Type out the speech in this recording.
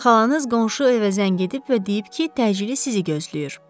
Xalanız qonşu evə zəng edib və deyib ki, təcili sizi gözləyir.